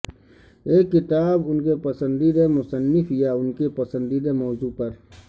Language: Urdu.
ایک کتاب ان کے پسندیدہ مصنف یا ان کے پسندیدہ موضوع پر